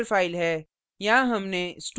यह हमारी header file है